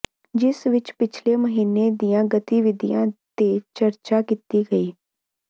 ਜਿਸ ਵਿੱਚ ਪਿਛਲੇ ਮਹੀਨੇ ਦੀਆਂ ਗਤੀਵਿਧੀਆਂ ਤੇ ਚਰਚਾ ਕੀਤੀ ਗਈ